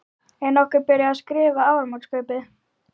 Er nokkuð byrjað að skrifa áramótaskaupið?